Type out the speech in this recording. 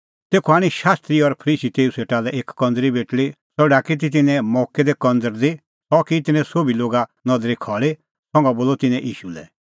तेखअ आणी शास्त्री और फरीसी तेऊ सेटा लै एक कंज़री बेटल़ी सह ढाकी ती तिन्नैं मोक्कै दी कंझ़रदी सह की तिन्नैं सोभी लोगा नदरी खल़ी संघा बोलअ तिन्नैं ईशू लै